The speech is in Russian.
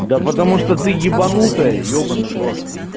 да потому что ты ебанутая ебанный в рот